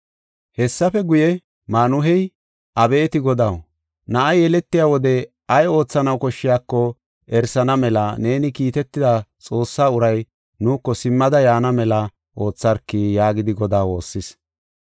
Hessafe guye, Maanuhey, “Abeeti Godaw, na7ay yeletiya wode ay oothanaw koshshiyako erisana mela neeni kiitida Xoossa uray nuuko simmidi yaana mela ootharki” yaagidi Godaa woossis.